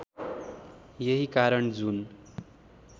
यही कारण जुन